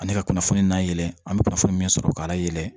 Ani ka kunnafoni na yɛlɛ an bɛ kunnafoni min sɔrɔ k'a layɛlɛn